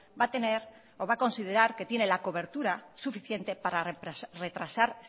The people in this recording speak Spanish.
va a tener o va a considerar que tiene la cobertura suficiente para retrasar